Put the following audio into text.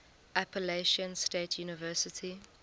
appalachian state university